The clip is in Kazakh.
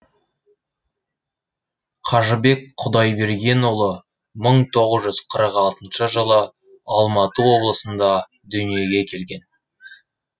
қажыбек құдайбергенұлы мың тоғыз жүз қырық алтыншы жылы алматы облысында дүниеге келген